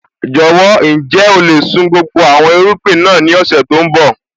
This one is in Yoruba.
Jọ̀wọ́, ǹjẹ́ o lè sun gbogbo àwọn irúgbìn náà ní ọ̀sẹ̀ tó ń bọ̀?